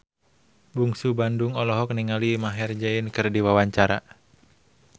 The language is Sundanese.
Bungsu Bandung olohok ningali Maher Zein keur diwawancara